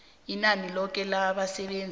inani loke labasebenzi